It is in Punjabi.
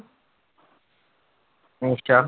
ਅੱਛਾ।